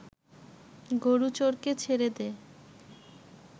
গোরুচোরকে ছেড়ে দে